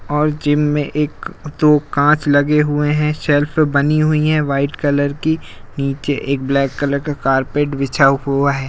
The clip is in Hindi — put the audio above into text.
और जिम में एक दो कांच लगे हुये हैं सेल्फ बनी हुई हैं वाईट कलर की नीचे एक ब्लैक कलर का कार्पेट बिछा हुआ है।